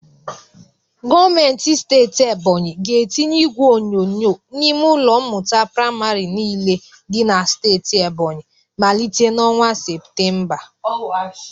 Gometi steeti Ebonyi ga-etinye igwe onyonyo n'ime ụlọ mmụta prịmarị niile dị na steeti Ebonyi malite n'ọnwa Septemba.